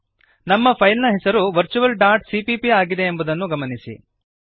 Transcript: ನಮ್ಮ ಫೈಲ್ ನ ಹೆಸರು virtualಸಿಪಿಪಿ ಆಗಿದೆ ಎಂಬುದನ್ನು ಗಮನಿಸಿರಿ